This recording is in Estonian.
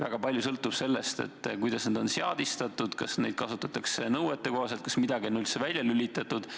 Väga palju sõltub sellest, kuidas need seadmed on seadistatud, kas neid kasutatakse nõuetekohaselt, kas midagi on üldse välja lülitatud.